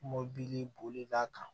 Mɔbili bolila kan